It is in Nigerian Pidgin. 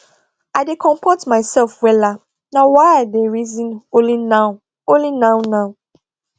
i dey compot mysef wella now wy i dey reason only now only now now